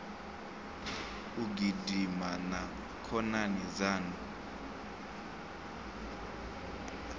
u gidima na khonani dzaṋu